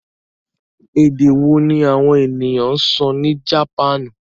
Èdè wo ní àwọn ènìyàn sọ ní Japan?